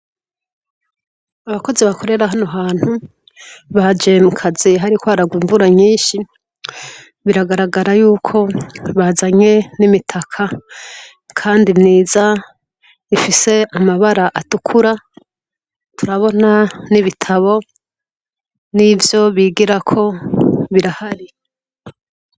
Abakozi balorera hano hantu baje mukazi hariko hagwa imvura nyinshi biragaragara ko bazanye nimitaka kandi myiza ifise amabara atukura turabona n'ibitabo nivyo bigirako birahari.